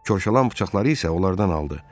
Korşalan bıçaqları isə onlardan aldı.